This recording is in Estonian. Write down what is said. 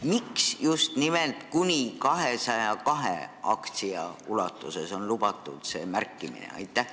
Miks just nimelt kuni 202 aktsia ulatuses on see märkimine lubatud?